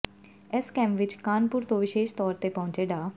ਇਸ ਕੈਂਪ ਵਿੱਚ ਕਾਨਪੁਰ ਤੋਂ ਵਿਸ਼ੇਸ਼ ਤੌਰ ਤੇ ਪਹੁੰਚੇ ਡਾ